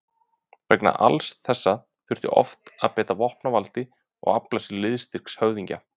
Vegna alls þessa þurfti oft að beita vopnavaldi og afla sér liðstyrks höfðingja.